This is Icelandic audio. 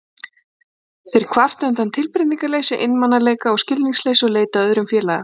Þeir kvarta undan tilbreytingarleysi, einmanaleika og skilningsleysi og leita að öðrum félaga.